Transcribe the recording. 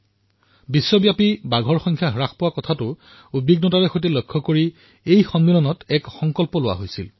ইয়াত বিশ্বত ক্ৰমান্বয়ে হ্ৰাস হোৱা বাঘৰ সংখ্যাক লৈ উদ্বিগ্নতা প্ৰকাশ কৰা হৈছিল আৰু এক সংকল্প গ্ৰহণ কৰা হৈছিল